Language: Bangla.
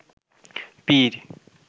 পীর